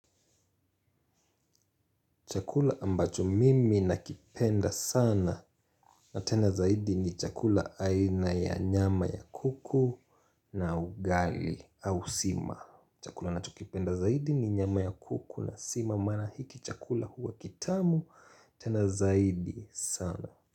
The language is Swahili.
Chakula ambacho mimi nakipenda sana na tena zaidi ni chakula aina ya nyama ya kuku na ugali au sima. Chakula nachokipenda zaidi ni nyama ya kuku na sima mana hiki chakula huwa kitamu tena zaidi sana.